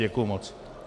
Děkuji moc.